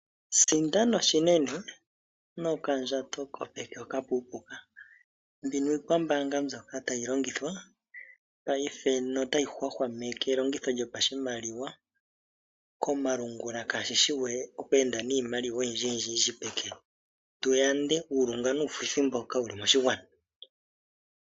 Sindana oshinene nokandjato kopeke hoka okapuupuuka. Mbino iikwambaanga mbyoka tayi longithwa paife notayi hwahwameke elongitho lyopashimaliwa komalungula kaashi shi we oku enda niimaliwa oyindjiyindji peke, tu yande uulunga nuufuthi mboka wu li moshigwana.